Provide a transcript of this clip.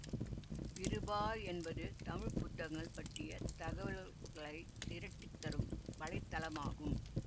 விருபா என்பது தமிழ் புத்தகங்கள் பற்றிய தகவல்களை திரட்டித்தரும் வலைத்தளமாகும்